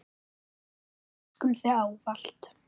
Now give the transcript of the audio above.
Við elskum þig ávallt.